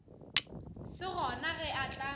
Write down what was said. se gona ge a tla